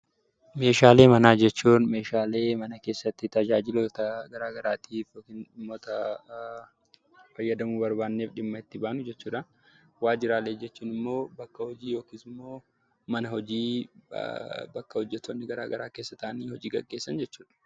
Meeshaalee manaa jechuun meeshaalee mana keessatti tajaajiloota garaa garaatiif yookiin dhimmoota garaa garaatiif fayyadamuu barbaanne dhimma itti baanu jechuudha. Waajjiraalee jechuun immoo bakka hojii yookiin immoo mana hojii bakka hojjettoonni garaa garaa keessa taa'anii hojii gaggeessan jechuudha.